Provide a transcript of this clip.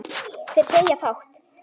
Þeir segja fátt